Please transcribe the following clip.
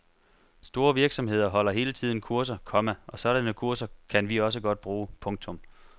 Store virksomheder holder hele tiden kurser, komma og sådanne kurser kan vi også godt bruge. punktum